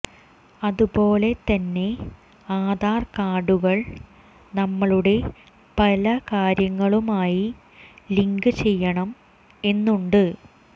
അതുപോലെ തന്നെ ആധാർ കാർഡുകൾ നമ്മളുടെ പല കാര്യങ്ങളുമായി ലിങ്ക് ചെയ്യണം എന്നുണ്ട്